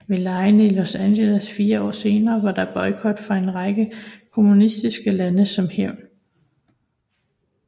Ved legene i Los Angeles fire år senere var der boykot fra en række kommunistiske lande som hævn